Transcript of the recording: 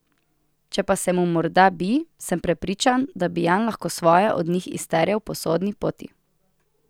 Če pa se mu morda bi, sem prepričan, da bi Jan lahko svoje od njih izterjal po sodni poti.